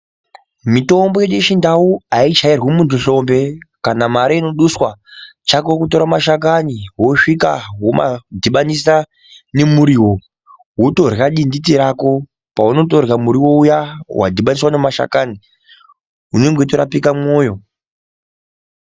Mitombo yedu yechindau aichairwi muntu nhlombe kana mare inoduswa chako kutora mashakani wosvika womadhibanisa nemuriwo wotorya dinditi rako paunotorya muriwo uya wadhibaniswa nemashakani unenge weitorapika mwoyo.